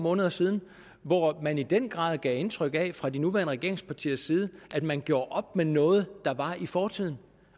måneder siden hvor man i den grad gav indtryk af fra de nuværende regeringspartiers side at man gjorde op med noget der var i fortiden